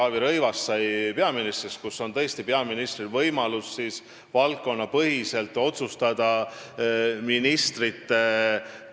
Minu meelest sai see alguse aastal 2014, kui Taavi Rõivas sai peaministriks.